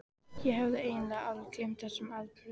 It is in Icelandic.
Ég hafði eiginlega alveg gleymt þessum atburðum.